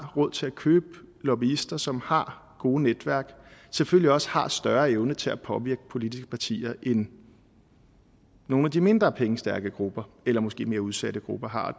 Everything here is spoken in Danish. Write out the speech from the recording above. råd til at købe lobbyister og som har gode netværk selvfølgelig også har en større evne til at påvirke politiske partier end nogle af de mindre pengestærke grupper eller måske mere udsatte grupper har